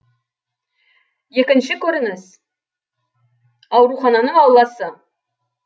екінші көрініс аурухананың ауласы